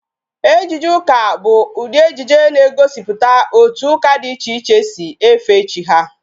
Ejije ụka bụ ụdị ejije na-egosiputa otu ụka dị iche iche si efe chi ha